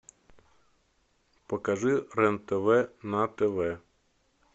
покажи рен тв на тв